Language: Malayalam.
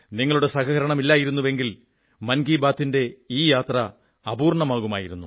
നിങ്ങളുടെ സഹകരണമില്ലായിരുന്നെങ്കിൽ മൻ കീ ബാത്തിന്റെ ഈ യാത്ര അപൂർണ്ണമാകുമായിരുന്നു